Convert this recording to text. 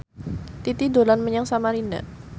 Titi dolan menyang Samarinda